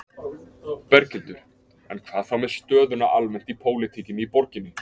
Berghildur: En hvað þá með stöðuna almennt í pólitíkinni í borginni?